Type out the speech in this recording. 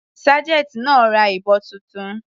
Sergeant náà ra ìbọn titun.